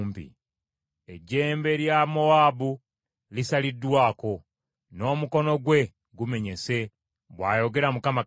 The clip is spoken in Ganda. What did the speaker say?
Ejjembe lya Mowaabu lisaliddwako, n’omukono gwe gumenyese,” bw’ayogera Mukama Katonda.